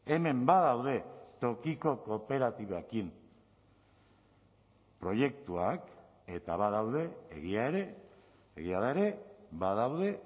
hemen badaude tokiko kooperatibekin proiektuak eta badaude egia ere egia da ere badaude